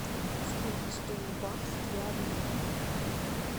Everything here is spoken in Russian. сколько стоит бакс для обмена